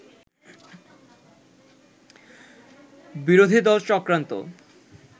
বিরোধী দল চক্রান্ত